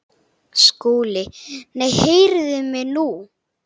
SKÚLI: Nei, heyrið mig nú!